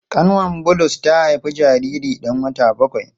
Kanwar Bulus ta haifi jariri dan wata bakwai.